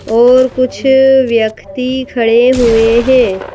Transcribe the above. और कुछ व्यक्ति खड़े हुए हैं।